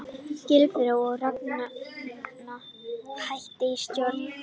Gylfi og Ragna hætta í stjórn